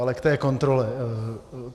Ale k té kontrole.